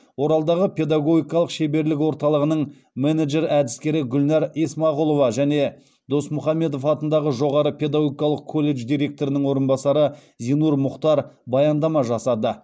оралдағы педагогикалық шеберлік орталығының менеджер әдіскері гүлнәр есмағұлова және досмұхамедов атындағы жоғары педагогикалық колледж директорының орынбасары зинур мұхтар баяндама жасады